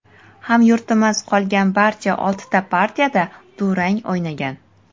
Hamyurtimiz qolgan barcha oltita partiyada durang o‘ynagan.